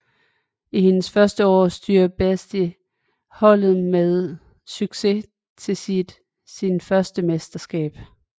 I hendes første år styrer Beiste holdet med succes til sin første mesterskab